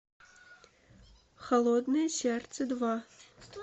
холодное сердце два